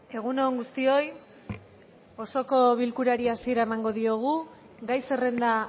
egun on guztioi osoko bilkurari hasiera emango diogu gai zerrenda